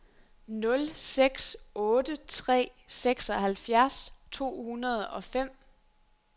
nul seks otte tre seksoghalvfjerds to hundrede og fem